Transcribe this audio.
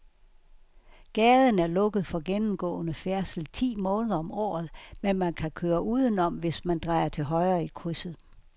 Gaden er lukket for gennemgående færdsel ti måneder om året, men man kan køre udenom, hvis man drejer til højre i krydset.